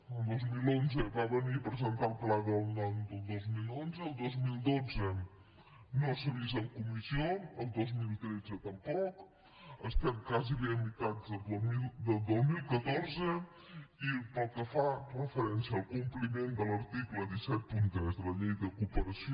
el dos mil onze va venir a presentar el pla del dos mil onze el dos mil dotze no s’ha vist en comissió el dos mil tretze tampoc estem gairebé a meitat del dos mil catorze i pel que fa referència al compliment de l’article cent i setanta tres de la llei de cooperació